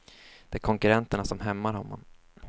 Det är konkurrenterna som hämmar honom.